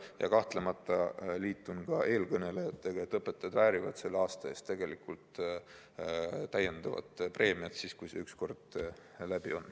Ja kahtlemata ma liitun eelkõnelejatega, et õpetajad väärivad selle aasta eest tegelikult täiendavat preemiat, siis kui see ükskord läbi on.